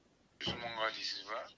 жүз мыңға дейсіз ба